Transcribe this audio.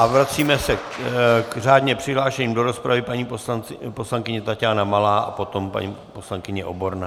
A vracíme se k řádně přihlášeným do rozpravy - paní poslankyně Taťána Malá a potom paní poslankyně Oborná.